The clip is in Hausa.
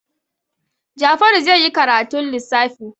Jafaru zai yi karatun lissafi.